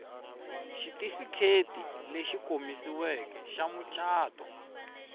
xitifiketi lexi komisiweke xa mucato